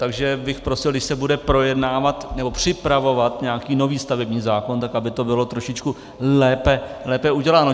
Takže bych prosil, když se bude projednávat nebo připravovat nějaký nový stavební zákon, tak aby to bylo trošičku lépe uděláno.